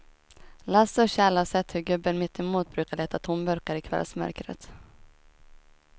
Lasse och Kjell har sett hur gubben mittemot brukar leta tomburkar i kvällsmörkret.